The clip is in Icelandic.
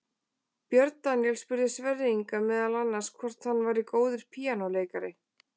Björn Daníel spurði Sverri Inga meðal annars hvort hann væri góður píanóleikari.